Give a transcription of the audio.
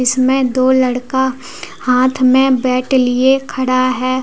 इसमें दो लड़का हाथ में बैट लिए खड़ा है।